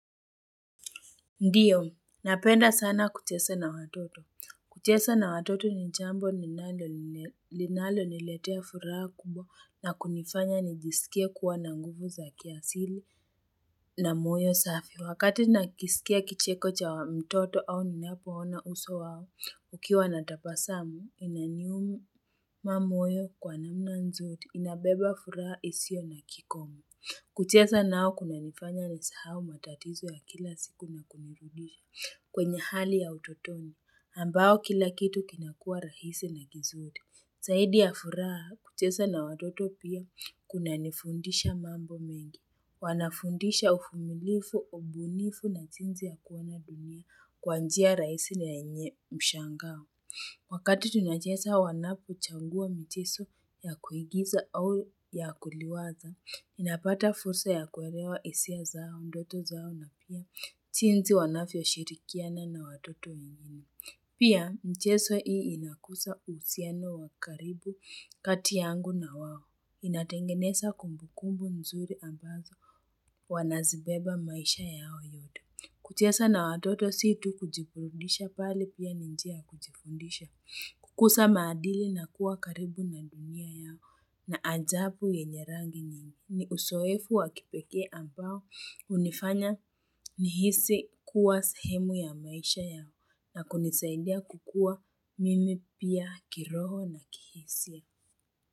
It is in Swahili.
Ndiyo, napenda sana kuchesa na watoto. Kucheza na watoto ni jambo ninalo linaloniletea furaha kubwa na kunifanya nijisikie kuwa na nguvu za kiasili na moyo safi. Wakati nakisikia kicheko cha wa mtoto au ninapoona uso wao, ukiwa na tabasamu, inaniuma moyo kwa namna nzuri, inabeba furaha isio na kikomo. Kucheza nao kunanifanya nisahau matatizo ya kila siku na kunirudisha kwenye hali ya utotoni, ambao kila kitu kinakuwa rahisi na kizuri. Zaidi ya furaha kucheza na watoto pia kunanifundisha mambo mengi. Wanafundisha uvumilifu, ubunifu na jinsi ya kuona dunia kwa njia rahisi na yenye mshangao. Wakati tunacheza wanapochagua mchezo ya kuigiza au ya kuliwaza, inapata fursa ya kuelewa hisia zao, ndoto zao na pia jinsi wanavyoshirikiana na watoto wengine. Pia michezo hii inakuza uhusiano wa karibu kati yangu na wao. Inatengeneza kumbukumbu mzuri ambazo wanazibeba maisha yao yote. Kucheza na watoto si tu kujiburudisha bali pia ni njia ya kujifundisha. Kukuza maadili na kuwa karibu na dunia yao na ajabu yenye rangi ni uzoefu wa kipekee ambao unifanya nihisi kuwa sahemu ya maisha yao na kunisaidia kukua mimi pia kiroho na kihisia.